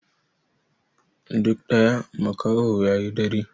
Duk ɗaya makaho ya yi dare.